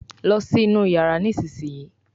lọ sí inú iyàrá nísìsiyìí!